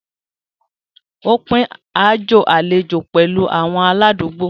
Ó pín aájò àlejò pẹ̀lú àwọn aládùúgbò.